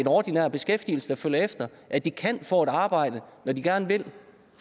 ordinær beskæftigelse efter at de kan få et arbejde når de gerne vil